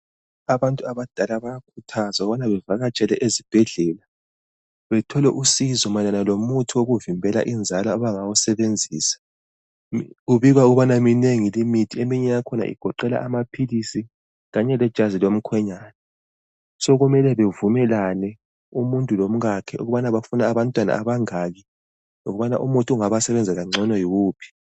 Abantu abadala bayakhuthazwa ukubana bavakatshele ezibhedlela bethole uncedo mayelana ngomuthi wokuvimbela inzalo abangawusebenzisa kubikwa ukubana minengi limithi eminye yakhona igoqela amaphilisi loba lejazi lomkhwenyana sokumele bevumelane umuntu lomkakhe ukubana bafuna abantwana abangaki lokubana umuthi ongaba sebenzela ngcono yuwuphi.